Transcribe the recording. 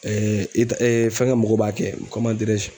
ita fɛngɛ mɔgɔw b'a kɛ